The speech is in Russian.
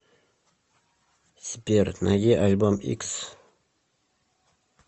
сбер найди альбом икс